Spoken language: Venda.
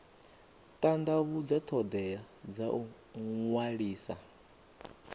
tandavhudza thodea dza u ṅwalisa